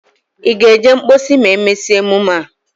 Ị ga-eje mposi ma e mesia emume a?